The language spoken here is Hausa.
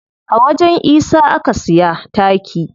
A wajen isa aka siya taki.